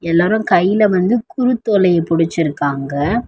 எல்லாரு கையில வந்து குருத்தோலைய புடிச்சிருக்காங்க.